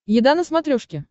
еда на смотрешке